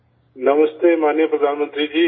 نمستے جناب وزیر اعظم صاحب